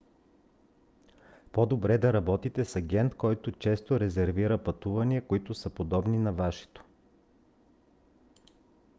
по-добре да работите с агент който често резервира пътувания които са подобни на вашето